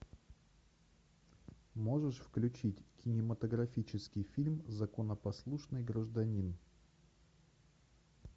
можешь включить кинематографический фильм законопослушный гражданин